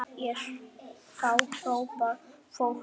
Þá hrópar fólk húrra.